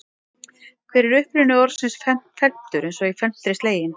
Hver er uppruni orðsins felmtur eins og í felmtri sleginn?